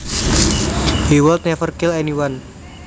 He would never kill anyone